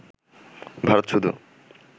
ভারত শুধু